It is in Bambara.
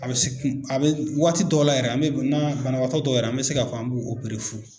A bɛ se a bɛ waati dɔ la yɛrɛ an bɛ na banabagatɔ dɔ yɛrɛ an mɛ se ka fɔ an b'o fu.